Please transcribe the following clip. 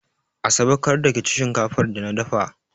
Asabe, kar da ki ci shinkafar da na dafa!